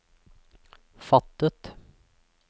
fattet